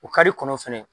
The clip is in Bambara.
O kari kɔnɔ fɛnɛ